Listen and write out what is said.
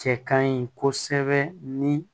Cɛ kaɲi kosɛbɛ ni